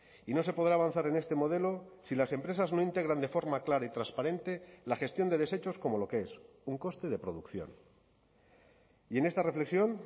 y no se podrá avanzar en este modelo si las empresas no integran de forma clara y transparente la gestión de desechos como lo que es un coste de producción y en esta reflexión